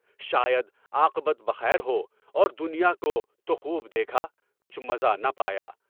شاید عاقبت بخیر ہو اور دنیا کو تو خوب دیکھا، کچھ مزہ نہ پایا۔